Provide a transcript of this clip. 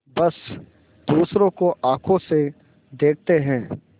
बस दूसरों को आँखों से देखते हैं